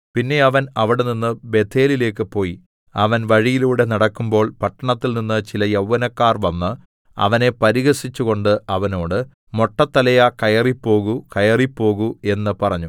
പിന്നെ അവൻ അവിടെനിന്ന് ബേഥേലിലേക്ക് പോയി അവൻ വഴിയിലൂടെ നടക്കുമ്പോള്‍ പട്ടണത്തിൽനിന്ന് ചില യൗവനക്കാർ വന്ന് അവനെ പരിഹസിച്ചു കൊണ്ട് അവനോട് മൊട്ടത്തലയാ കയറിപ്പോകൂ കയറിപ്പോകൂ എന്ന് പറഞ്ഞു